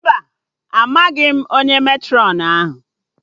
Mba, amaghị m onye Matrọn ahụ